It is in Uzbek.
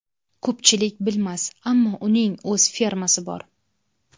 Ko‘pchilik bilmas, ammo uning o‘z fermasi bor.